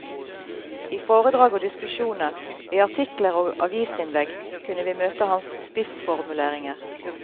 I foredrag og diskusjoner, i artikler og avisinnlegg kunne vi møte hans spissformuleringer.